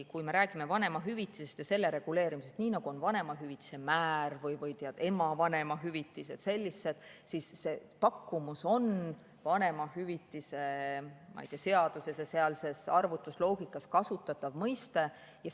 Kui me räägime vanemahüvitisest ja selle reguleerimisest, siis nii nagu on vanemahüvitise määr või ema vanemahüvitis või sellised, on see pakkumus vanemahüvitise seaduses ja sealses arvutusloogikas kasutatav mõiste.